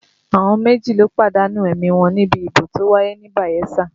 Àwọn méjì ló pàdánù ẹ̀mí wọn níbi ìdìbò tó wáyé ní Bayelsa